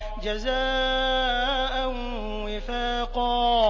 جَزَاءً وِفَاقًا